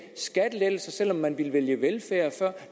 skattelettelser selv om man ville vælge velfærd før